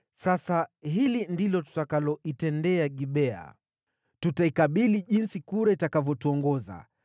Sasa hili ndilo tutakaloitendea Gibea: Tutaikabili jinsi kura itakavyotuongoza.